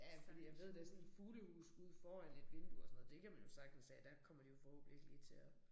Ja fordi jeg ved da sådan et fuglehus ude foran et vindue og sådan noget det kan man jo sagtens have. Der kommer de jo forhåbentlig ikke lige til at